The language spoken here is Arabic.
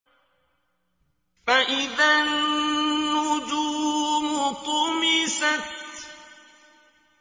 فَإِذَا النُّجُومُ طُمِسَتْ